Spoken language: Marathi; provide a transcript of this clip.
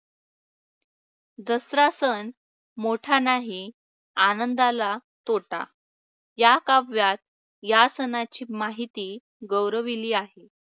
दसरा सण मोठा नाही आनंदाला तोटा या काव्यात या सणाची माहिती गौरविली आहे.